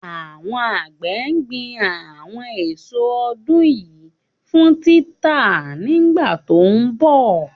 Àwọn àgbẹ̀ gbin àwọn èso ọdún yìí fún títà nígbà tó ń bọ̀.